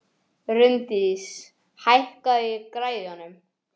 Rúndís, hækkaðu í græjunum.